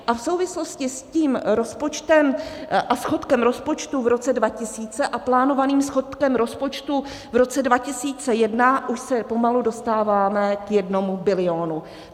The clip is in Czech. A v souvislosti s tím rozpočtem a schodkem rozpočtu v roce 2000 a plánovaným schodkem rozpočtu v roce 2001 už se pomalu dostáváme k jednomu bilionu.